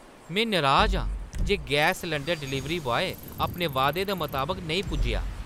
में नराज आं जे गैस सलैंडर डलीवरी बॉय अपने वादे दे मताबक नेईं पुज्जेआ।